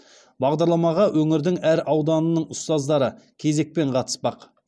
бағдарламаға өңірдің әр ауданының ұстаздары кезекпен қатыспақ